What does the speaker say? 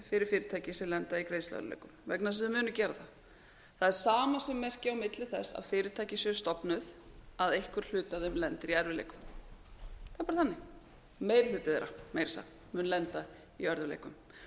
fyrir fyrirtæki sem lenda í greiðsluörðugleikum vegna þess að þau munu gera það það er samasemmerki a milli þess að fyrirtæki séu stofnuð að einhver hluti af þeim lendir í erfiðleikum það er bara þannig meiri hluti þeirra meira að segja mun lenda í örðugleikum sumum er hægt